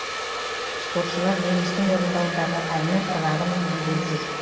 спортшылар денистің орындауындағы әннің ырғағымен билеп жүр